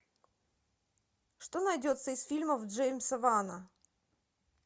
что найдется из фильмов джеймса вана